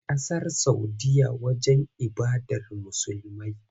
Ƙasar Saudiyya wajen ibadar Musulmai.